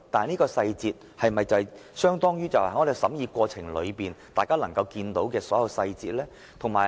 不過，這些細節是否與大家在審議過程中看到的細節相同呢？